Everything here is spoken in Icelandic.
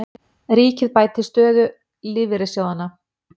Ríkið bæti stöðu lífeyrissjóðanna